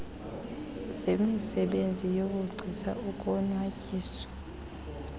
zemisebenzi yobugcisa ukonwatyiswa